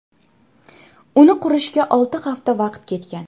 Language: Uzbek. Uni qurishga olti hafta vaqt ketgan.